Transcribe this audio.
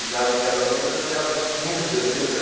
A idade de casamento já era quinze, dezesseis,